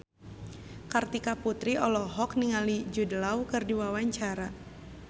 Kartika Putri olohok ningali Jude Law keur diwawancara